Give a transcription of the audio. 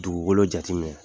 Dugukolo jateminɛ